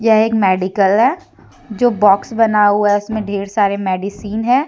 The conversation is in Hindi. यह एक मेडिकल है जो बॉक्स बना हुआ हैं उसमें ढेर सारे मेडिसिन हैं।